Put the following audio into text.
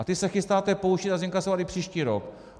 A ty se chystáte použít a zinkasovat i příští rok.